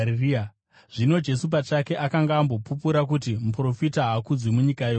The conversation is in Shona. Zvino Jesu pachake akanga ambopupura kuti muprofita haakudzwi munyika yokwake.